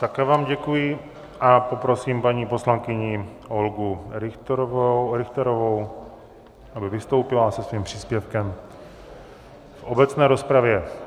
Také vám děkuji a poprosím paní poslankyni Olgu Richterovou, aby vystoupila se svým příspěvkem v obecné rozpravě.